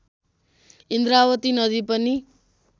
इन्द्रावती नदी पनि